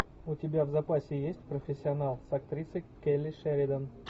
у тебя в запасе есть профессионал с актрисой келли шеридан